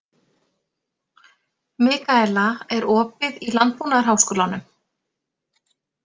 Mikaela, er opið í Landbúnaðarháskólanum?